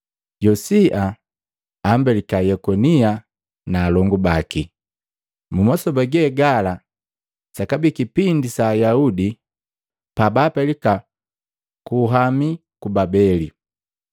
Yosia ambelika Yekonia na alongu baki, mu masoba gegala sakabii kipindi sa Ayaudi pabaapelika ku luhami ku Babeli.